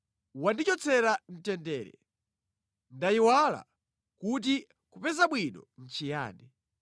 Wandichotsera mtendere; ndayiwala kuti kupeza bwino nʼchiyani.